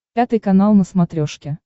пятый канал на смотрешке